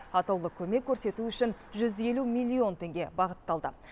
атаулы көмек көрсету үшін жүз елу миллион теңге бағытталды